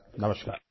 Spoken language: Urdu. نمسکار